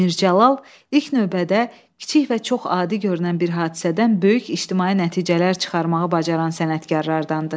Mir Cəlal ilk növbədə kiçik və çox adi görünən bir hadisədən böyük ictimai nəticələr çıxarmağı bacaran sənətkarlardandır.